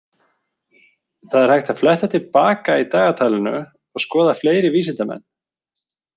Það er hægt að fletta til baka í dagatalinu og skoða fleiri vísindamenn.